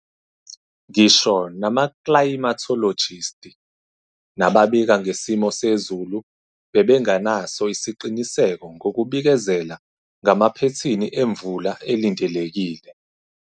NGISHO NAMAKLAYIMATHOLOJISTI NABABIKA NGESIMO SEZULU BEBENGENASO ISIQINISEKO NGOKUBIKEZELA NGAMAPHETHINI EMVULA ELINDELEKILE.